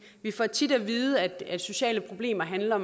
vi får tit at vide at sociale problemer handler